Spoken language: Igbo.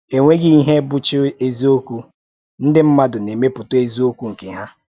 Enweghị ihe bụ́chá eziokwu — ndị mmadụ na-emepụta eziokwu nke ha.